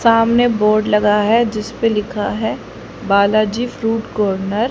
सामने बोर्ड लगा है जिस पर लिखा है बालाजी फ्रूट कॉर्नर --